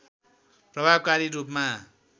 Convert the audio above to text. प्रभावकारी रूपमा